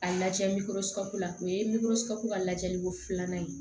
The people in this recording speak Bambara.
A lajɛ la o ye ka lajɛliko filanan ye